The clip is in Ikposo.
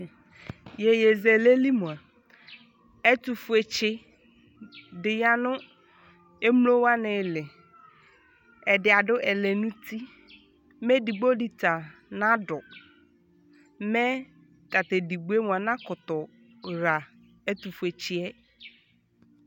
Yeyezɛlɛ li moa, ɛtofuetse de ya emlo wane le Ɛde ado ɛlɛnuti, mɛ edigbo de ta naado mɛ tato edigboe moa nakoto ha ɛtofuetseɛ